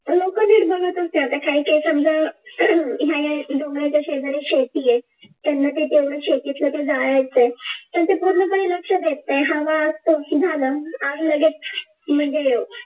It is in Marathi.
आता काही काही समजा हे डोंगराच्या शेजारी शेती आहे त्यांना ते तेवढं शेतीतले ते जाळायचं आहे तसे पूर्ण काही लक्ष देत नाही हवा झाला आग लगेच म्हणजे